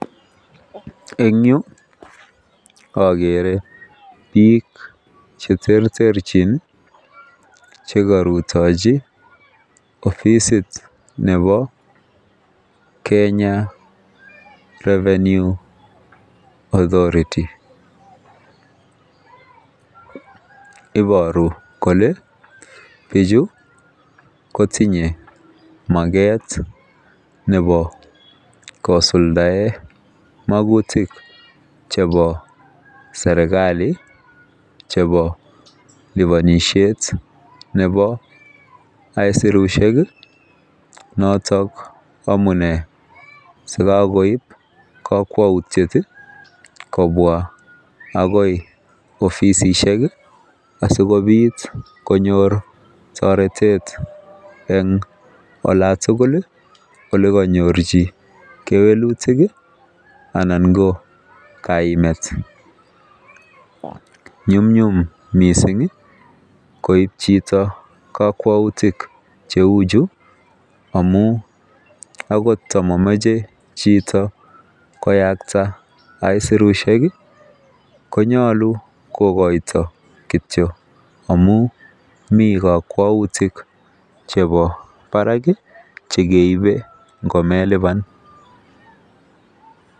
En yuu okere bik cheterterenchin chekoruyochi offisit nebo Kenya revenue authority iboru kole bichu kotinye makat nebo kisuldaen mokutik chebo serkali chebo liponishet nebo isurushek kii noton amun sikokoib kokwoutyet kobwa akoi offisishek asikopit konyor toretet en olan tukuk ole konyorchi kewelutik kii anan ko kaimet. Nyumnyum missingi koib chito kokwoutik cheu chuu amun akot momoche chito kiyakta isurushek kii konyolu kokoito kityok amun mii kokwoutik chebo barak kii chekeibe ngomelipan.